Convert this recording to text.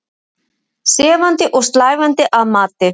Sefandi og slævandi að mati